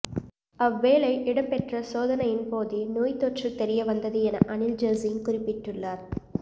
அவ்வேளை இடம்பெற்ற சோதனையின் போதே நோய் தொற்று தெரியவந்தது என அனில் ஜசிங்க குறிப்பிட்டுள்ளார்